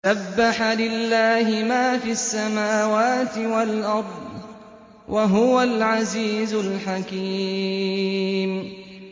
سَبَّحَ لِلَّهِ مَا فِي السَّمَاوَاتِ وَالْأَرْضِ ۖ وَهُوَ الْعَزِيزُ الْحَكِيمُ